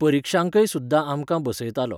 परिक्षांकय सुद्दां आमकां बसयतालो.